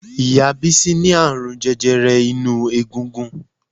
Ìyá Bísí ní àrùn jẹjẹrẹ inú egungun